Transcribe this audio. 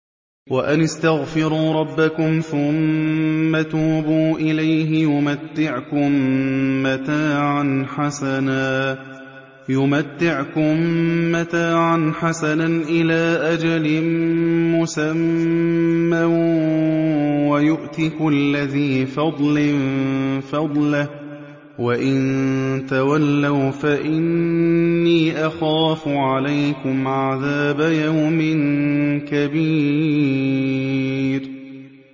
وَأَنِ اسْتَغْفِرُوا رَبَّكُمْ ثُمَّ تُوبُوا إِلَيْهِ يُمَتِّعْكُم مَّتَاعًا حَسَنًا إِلَىٰ أَجَلٍ مُّسَمًّى وَيُؤْتِ كُلَّ ذِي فَضْلٍ فَضْلَهُ ۖ وَإِن تَوَلَّوْا فَإِنِّي أَخَافُ عَلَيْكُمْ عَذَابَ يَوْمٍ كَبِيرٍ